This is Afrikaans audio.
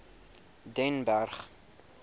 den berg